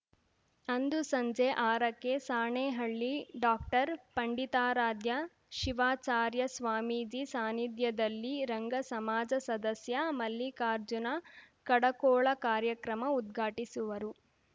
ಅಂದು ಸಂಜೆ ಆರಕ್ಕೆ ಸಾಣೇಹಳ್ಳಿ ಡಾಕ್ಟರ್ಪಂಡಿತಾರಾಧ್ಯ ಶಿವಾಚಾರ್ಯ ಸ್ವಾಮೀಜಿ ಸಾನಿಧ್ಯದಲ್ಲಿ ರಂಗ ಸಮಾಜ ಸದಸ್ಯ ಮಲ್ಲಿಕಾರ್ಜುನ ಕಡಕೋಳ ಕಾರ್ಯಕ್ರಮ ಉದ್ಘಾಟಿಸುವರು